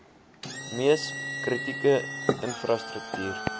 mees kritieke infrastruktuur